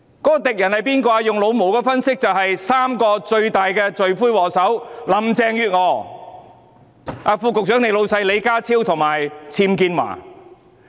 按照"老毛"的角度分析，敵人正是三大罪魁禍首，即林鄭月娥，副局長的上司李家超及"僭建驊"。